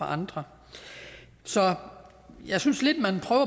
andre så jeg synes lidt